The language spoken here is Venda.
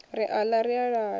ri aḽa ri al a